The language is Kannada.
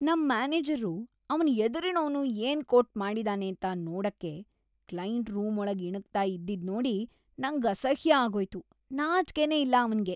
ನಮ್‌ ಮ್ಯಾನೇಜರ್ರು ಅವ್ನ್‌ ಎದುರಿನೋನು ಏನ್‌ ಕೋಟ್‌ ಮಾಡಿದಾನೇಂತ ನೋಡಕ್ಕೆ ಕ್ಲೈಂಟ್‌ ರೂಮೊಳಗ್‌ ಇಣುಕ್ತಾ ಇದ್ದಿದ್ನೋಡಿ ನಂಗ್‌ ಅಸಹ್ಯ ಆಗೋಯ್ತು, ನಾಚ್ಕೆನೇ ಇಲ್ಲ ಅವ್ನಿಗೆ.